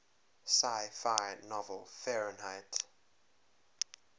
sci fi novel fahrenheit